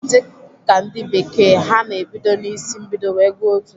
Dịka ndị bekee, ha na-ebido na isi mbido wee gụọ otu.